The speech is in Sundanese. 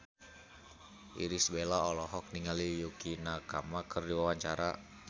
Irish Bella olohok ningali Yukie Nakama keur diwawancara